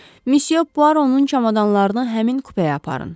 Missyo Puaronun çamadanlarını həmin kupəyə aparın.